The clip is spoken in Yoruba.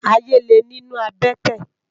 Àyé lé ninú àbètè